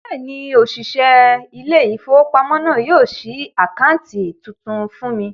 Bẹ́ẹ̀ni, òṣìṣẹ́ ilé-ìfowópamọ́sí náà yóò ṣí àkáǹtì tuntun fún mi